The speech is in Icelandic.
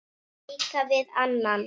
leika við annan